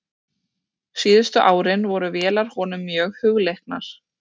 Síðustu árin voru vélar honum mjög hugleiknar.